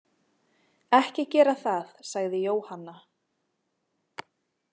Ekki gera það, sagði Jóhanna.